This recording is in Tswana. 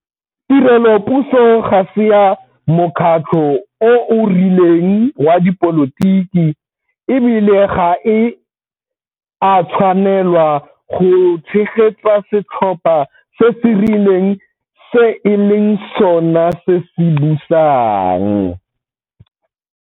Tirelopuso ga se ya mokgatlho o o rileng wa dipolotiki, e bile ga e a tshwanelwa go tshegetsa setlhopha se se rileng se e leng sona se se busang.